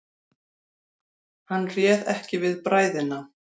Hann réð ekki við bræðina.